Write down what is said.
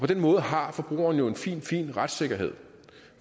den måde har forbrugeren jo en fin fin retssikkerhed